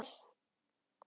Bera mig vel?